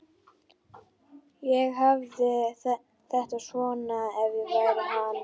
Ég hefði haft þetta svona ef ég hefði verið hann.